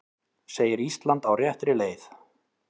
Segir Ísland á réttri leið